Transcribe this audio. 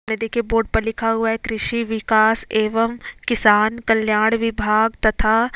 नदी के बोर्ड पर लिखा हुआ है कृषि विकास एवं किसान कल्याण विभाग तथा--